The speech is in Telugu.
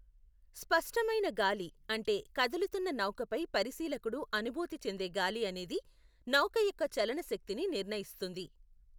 స్పష్టమైన గాలి, అంటే కదులుతున్న నౌకపై పరిశీలకుడు అనుభూతి చెందే గాలి అనేది నౌక యొక్క చలన శక్తిని నిర్ణయిస్తుంది.